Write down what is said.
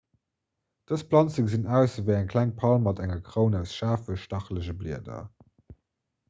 dës planze gesinn aus ewéi eng kleng palm mat enger kroun aus schaarfen stachelege blieder